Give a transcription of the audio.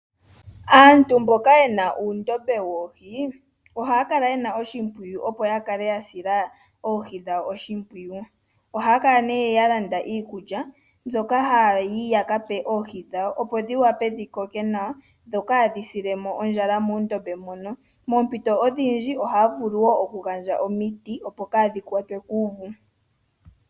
Aantu mboka ye na uundombe woohi ohaya kala ye na oshimpwiyu, opo ya kale ya sila oohi dhawo oshimpwiyu. Ohaya kala ya landa iikulya yoohi mbyoka haya yi ya ka pe oohi dhawo, opo dhi wape dhi koke nawa, opo kaadhi sile mo ondjala muundombe muno. Moompito odhindji ohaa vulu wo okugandja omiti, opo kaadhi kwatwe kuuvu.